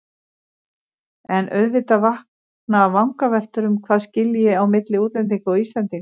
En auðvitað vakna vangaveltur um hvað skilji á milli útlendinga og Íslendinga.